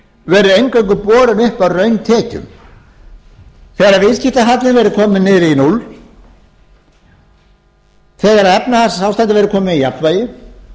eingöngu borin uppi af rauntekjum þegar viðskiptahallinn verður kominn niður í núll þegar efnahagsástandið verður komið í jafnvægi